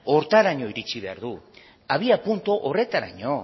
horretaraino iritsi behar du abiapuntu horretaraino